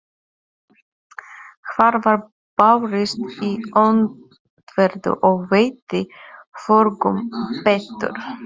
Hart var barist í öndverðu, og veitti hvorugum betur.